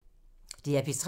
DR P3